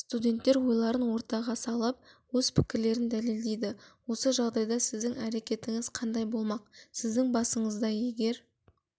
студенттер ойларын ортаға салып өз пікірлерін дәлелдейді осы жағдайда сіздің әрекетіңіз қандай болмақ сіздің басыңызда егер